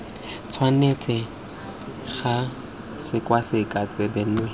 tshwanetse ga sekwasekwa tsebe nngwe